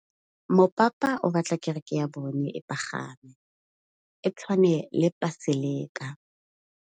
Mopapa o batla kereke ya bone e pagame, e tshwane le paselika.